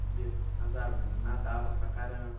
Subia nas árvores, nadava para caramba.